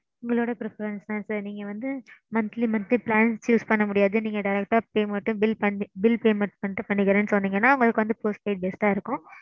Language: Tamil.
உங்களோட preference தான் sir. நீங்க வந்து monthly montly plan choose பண்ண முடியாது நீங்க direct pay bill payment மட்டும் பண்ணிக்குறேன்னு சொன்னிங்கன்னா உங்களுக்கு வந்து postpaid நல்லாதா இருக்கும்.